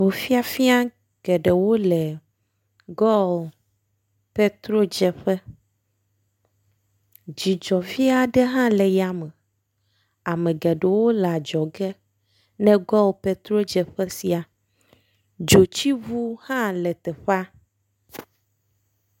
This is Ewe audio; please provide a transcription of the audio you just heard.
Ŋu fiafia geɖewo le goil petrodzeƒe. Dzɔdzɔfi aɖe hã le ya me. Ame geɖewo le adzɔge ne goil petrodzeƒe sia. Dzotsiŋu hã le teƒea.